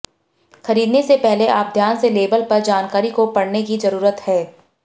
खरीदने से पहले आप ध्यान से लेबल पर जानकारी को पढ़ने की जरूरत है